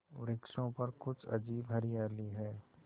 वृक्षों पर कुछ अजीब हरियाली है